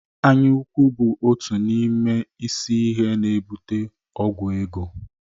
Anya ukwu bụ otu n'ime isi ihe na-ebute ọgwụ ego